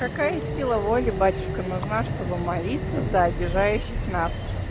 какая сила воли батюшка нужна чтобы молиться за обижающих нас